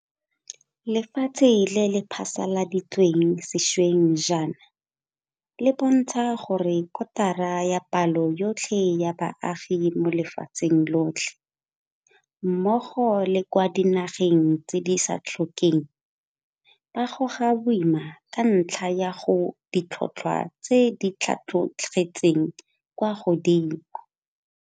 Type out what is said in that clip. Lefatshe le le phasaladitsweng sešweng jaana le bontsha gore kotara ya palo yotlhe ya baagi mo lefatsheng lotlhe, mmogo le kwa dinageng tse di sa tlhokeng, ba goga boima ka ntlha ya ditlhotlhwa tse di tlhatlogetseng kwa godimo.